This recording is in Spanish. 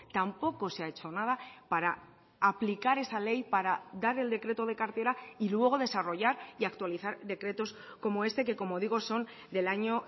tampoco se ha hecho nada para aplicar esa ley para dar el decreto de cartera y luego desarrollar y actualizar decretos como este que como digo son del año